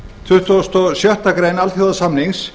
tuttugasta og sjöttu grein alþjóðasamningsins